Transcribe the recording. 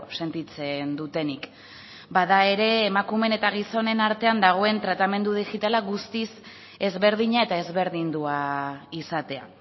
sentitzen dutenik bada ere emakumeen eta gizonen artean dagoen tratamendu digitala guztiz ezberdina eta ezberdindua izatea